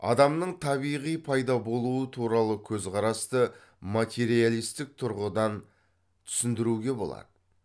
адамның табиғи пайда болуы туралы көзқарасты материалистік тұрғыдан түсіндіруге болады